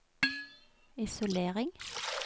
isolering